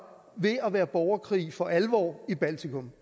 ved at være borgerkrig for alvor i baltikum